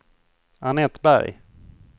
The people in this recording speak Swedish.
Annette Berg